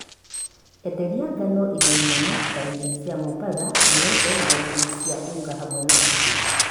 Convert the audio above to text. Endelia ngano ithĩi nene ta ithĩi cia mũmbatha, United na ithĩi cia Unga hamwe na ingĩ